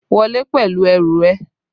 Wọlé pẹ̀lú ẹrù ẹ!